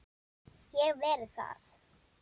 Ég hef verið þar.